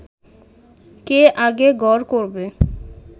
কে আগে গড় করবে